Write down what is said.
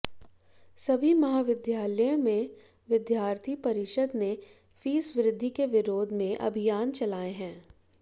सभी महाविद्यालयों में विद्यार्थी परिषद ने फीस वृद्धि के विरोध में अभियान चलाए हैं